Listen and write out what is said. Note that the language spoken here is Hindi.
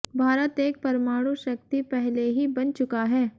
भारत एक परमाणु शक्ति पहले ही बन चुका है